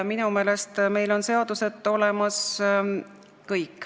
Minu meelest on meil kõik seadused olemas.